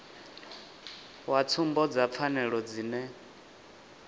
wa tsumbo dza pfanelo dzine